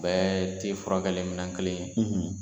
Bɛɛ tɛ furakɛli minɛn kelen ye